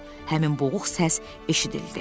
Həmin boğuq səs eşidildi.